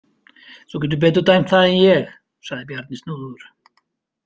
Þú getur betur dæmt það en ég, sagði Bjarni snúðugur.